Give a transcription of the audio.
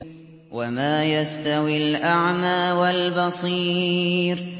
وَمَا يَسْتَوِي الْأَعْمَىٰ وَالْبَصِيرُ